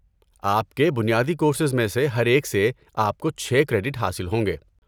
آپ کے بنیادی کورسز میں سے ہر ایک سے آپ کو چھ کریڈٹ حاصل ہوں گے۔